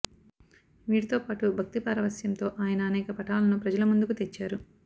వీటితో పాటు భక్తి పారవశ్యంతో ఆయన అనేక పటాలను ప్రజల ముందుకు తెచ్చారు